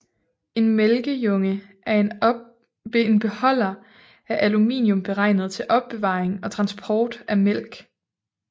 En mælkejunge er en beholder af aluminium beregnet til opbevaring og transport af mælk